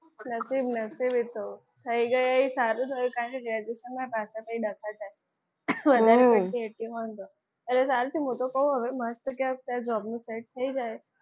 નસીબ નસીબે તો થઈ ગઈ એ સારું થયું કારણકે graduation ના પાછળ થી તો ડખા થાય એટલે સારું થયું હું તો કહું હવે મસ્ત કંઈક job નું set થઈ જાય.